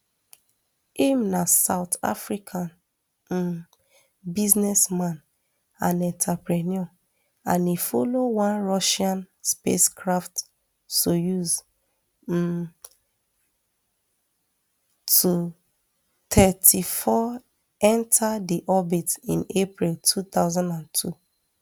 im na south african um businessman and entrepreneur and e follow one russian spacecraft soyuz um to thirty-four enta di orbit in april two thousand and two